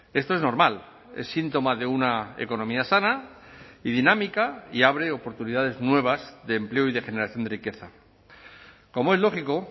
esto es normal es síntoma de una economía sana y dinámica y abre oportunidades nuevas de empleo y de generación de riqueza como es lógico